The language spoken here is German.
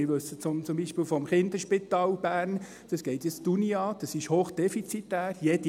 Wir wissen zum Beispiel vom Kinderspital Bern – das geht die Uni an –, dass dieses hoch defizitär ist;